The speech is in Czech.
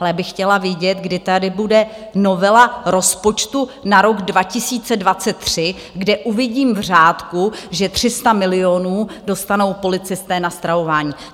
Ale já bych chtěla vědět, kdy tady bude novela rozpočtu na rok 2023, kde uvidím v řádku, že 300 milionů dostanou policisté na stravování.